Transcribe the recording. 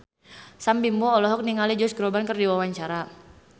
Sam Bimbo olohok ningali Josh Groban keur diwawancara